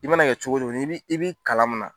I mana kɛ cogo cogo n'i b'i i bi kalan min na